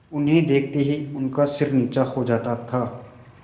उन्हें देखते ही उनका सिर नीचा हो जाता था